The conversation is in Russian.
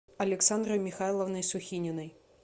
александрой михайловной сухининой